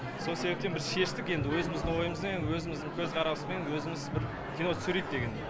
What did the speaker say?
сол себептен біз шештік енді өзіміздің ойымызда енді өзіміздің көзқараспен өзіміз бір кино түсірейік деген